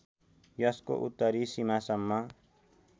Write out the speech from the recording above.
यसको उत्तरी सीमासम्म